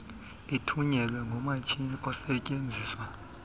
ithunyelwe ngomatshini osetyenziswa